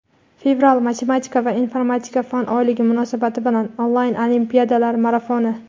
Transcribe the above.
Fevral - Matematika va informatika fan oyligi munosabati bilan onlayn olimpiadalar marafoni!.